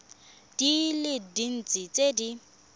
di le dintsi tse di